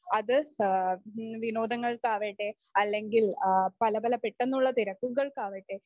അത് ആഹ് വിനോദങ്ങൾക്കാവട്ടെ അല്ലെങ്കിൽ പലപല പെട്ടെന്നുള്ള തിരക്കുകൾക്കാവട്ടെ